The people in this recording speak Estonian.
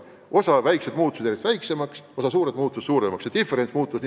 Osa väikesi valdu muutus järjest väiksemaks, osa suuri muutus suuremaks ja diferents aina kasvas.